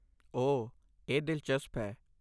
ਓਹ, ਇਹ ਦਿਲਚਸਪ ਹੈ।